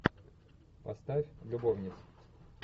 поставь любовниц